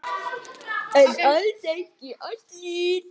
En alls ekki allir.